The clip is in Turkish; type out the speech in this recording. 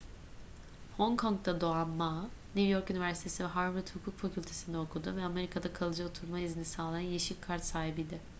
hong kong'da doğan ma new york üniversitesi ve harvard hukuk fakültesi'nde okudu ve amerika'da kalıcı oturma izni sağlayan yeşil kart sahibiydi